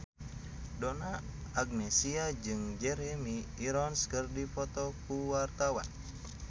Donna Agnesia jeung Jeremy Irons keur dipoto ku wartawan